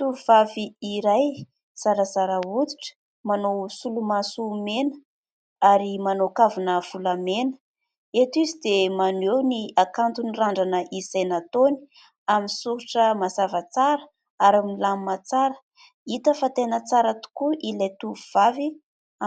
Tovovavy iray zarazara hoditra, manao solomaso mena ary manao kavina volamena. Eto izy dia maneho ny hakanton' ny randrana izay nataony amin'ny soritra mazava tsara ary milamina tsara. Hita fa tena tsara tokoa ilay tovovavy